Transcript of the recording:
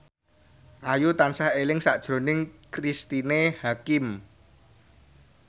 Ayu tansah eling sakjroning Cristine Hakim